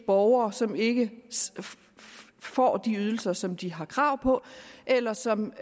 borgere som ikke får de ydelser som de har krav på eller som